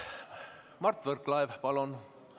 Mart Võrklaev, palun!